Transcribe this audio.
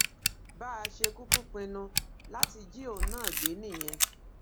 bá a ṣe kúkú pinnu láti jí òun náà gbé nìyẹn